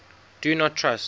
do not trust